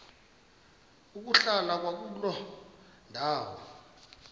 ukuhlala kwakuloo ndawo